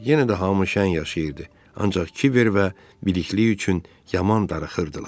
Yenə də hamı şən yaşayırdı, ancaq Kiver və Bidiqli üçün yaman darıxırdılar.